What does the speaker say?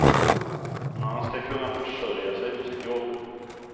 Man ska kunna försörja sig på sitt jobb.